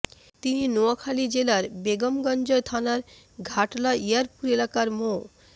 তিনি নোয়াখালী জেলার বেগমগঞ্জ থানার ঘাটলা ইয়ারপুর এলাকার মো